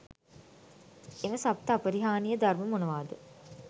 එම සප්ත අපරිහානීය ධර්ම මොනවාද?